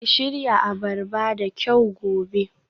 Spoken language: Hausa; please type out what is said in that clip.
Ki shirya abarba da kyau gobe